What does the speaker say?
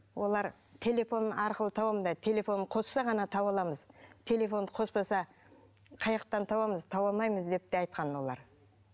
олар телефон арқылы телефонын қосса ғана таба аламыз телефонды қоспаса табамыз таба алмаймыз деп те айтқан олар